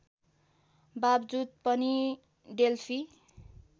बाबजुद पनि डेल्फी